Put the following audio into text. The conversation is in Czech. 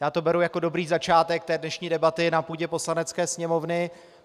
Já to beru jako dobrý začátek té dnešní debaty na půdě Poslanecké sněmovny.